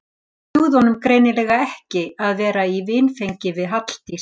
Það dugði honum greinilega ekki að vera í vinfengi við Halldísi.